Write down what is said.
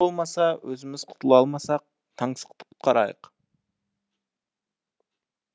тымболмаса өзіміз құтыла алмасақ таңсықты құтқарайық